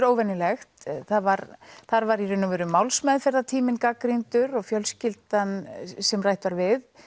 óvenjulegt þar var þar var málsmeðferðartíminn gagnrýndur og fjölskyldan sem rætt var við